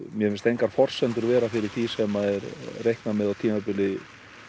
mér finnst engar forsendur vera fyrir því sem reiknað með á tímabili